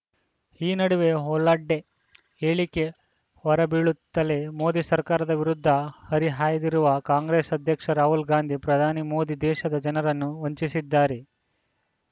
ಈ ನಡುವೆ ಹೊಲಾಡೆ ಹೇಳಿಕೆ ಹೊರಬೀಳುತ್ತಲೇ ಮೋದಿ ಸರ್ಕಾರದ ವಿರುದ್ಧ ಹರಿಹಾಯ್ದಿರುವ ಕಾಂಗ್ರೆಸ್‌ ಅಧ್ಯಕ್ಷ ರಾಹುಲ್‌ ಗಾಂಧಿ ಪ್ರಧಾನಿ ಮೋದಿ ದೇಶದ ಜನರನ್ನು ವಂಚಿಸಿದ್ದಾರೆ